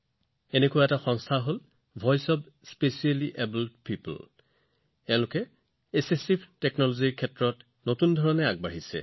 এনে এটা প্ৰতিষ্ঠান হৈছে ভয়েচ অফ স্পেশেলিয়েবল্ড পিঅপল এই সংগঠনটোৱে সহায়ক প্ৰযুক্তিৰ ক্ষেত্ৰত নতুন সুযোগৰ প্ৰচাৰ কৰি আছে